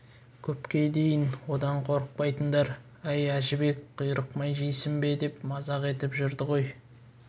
көпке дейін одан қорықпайтындар әй әжібек құйрық май жейсің бе деп мазақ етіп жүрді ғой